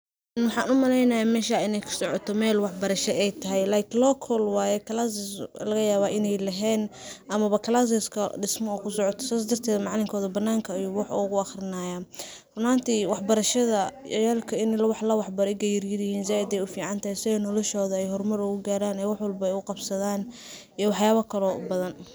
Maxaa umaleynahay meshan in ay kasoco mel wax barasha ay tahay like local waye classes lagayaba in ay lehen ama classeska dismo u kusocoto. sas darteda macalinkoda bananaka ayu wax ugu aqrinayaa. Run ahanti wax barasha ciyalka in klawax baro ega yaryaryihin zaid ay uficantahay si ay noloshoda hormar ugugaran ay wax walbo u qabsadan iyo waxyala kale oo badhan.